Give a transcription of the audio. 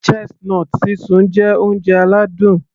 Chestnut sísun jẹ́ oúnjẹ aládùn